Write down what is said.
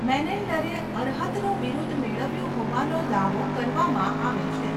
મેનેન્ડરે અર્હતનું બિરુદ મેળવ્યું હોવાનો દાવો કરવામાં આવે છે.